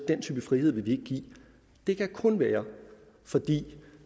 den type frihed vil vi ikke give det kan kun være fordi